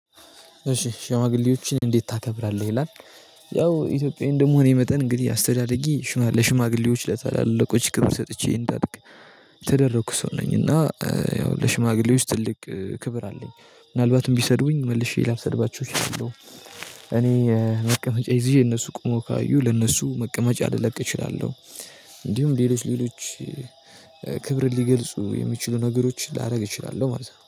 እሺ ሽማግሌዎችን እንዴት ታከብራለህ ይላል? ያው ኢትዮጵያዊ እንደመሆኔ መጠን እንግዲህ አስተዳድጌ ሽማግሌዎች ለታላላቆች ክብር ሰጥቼ እንዳድግ የተደረኩ ሰው ነኝ። እና ያው ለሽማግሌዎች ትልቅ ክብር አለኝ ምናልባትም ቢሰድቡኝ መልሼ ላልሰድባቸው እችላለሁ። እኔ መቀመጫ ይዤ እነሱ ቆሞ ካዩ ለነሱ መቀመጫ ልለቅ እችላለሁ። እንዲሁም ሌሎች ሌሎች ክብርን ሊገልጹ የሚችሉ ነገሮች ላደርግ እችላለሁ ማለት ነው